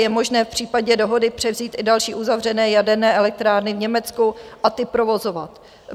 Je možné v případě dohody převzít i další uzavřené jaderné elektrárny v Německu a ty provozovat.